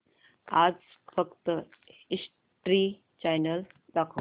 आज फक्त history channel दाखव